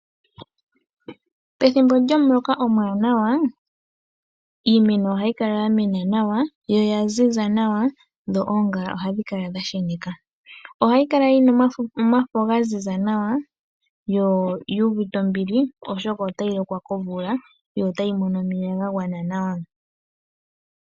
Pethimbo lyomuloka omuwanawa iimeno ohayi kala ya mena nawa yo oya ziza nawa dho oongala ohadhi kala dha sheneka. Ohayi kala yi na omafo ga ziza nawa, yo yu uvite ombili, oshoka otayi lokwa komvula yo otayi mono omeya ga gwana nawa.